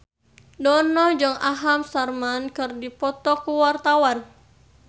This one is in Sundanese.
Dono jeung Aham Sharma keur dipoto ku wartawan